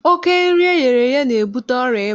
Oké nri eghere eghe na-ebute ọrịa ịba.